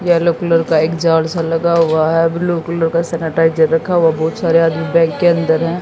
Yellow colour का एक जाल सा लगा हुआ है ब्लू कलर का सैनिटाइजर रखा हुआ बहुत सारे आदमी बैंक के अंदर हैं।